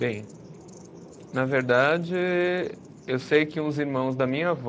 Bem, na verdade, eu sei que uns irmãos da minha avó